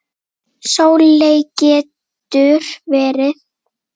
Sóley getur verið